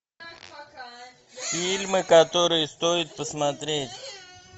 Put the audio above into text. фильмы которые стоит посмотреть